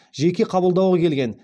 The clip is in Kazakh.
жеке қабылдауға келген